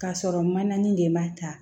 K'a sɔrɔ manani de b'a ta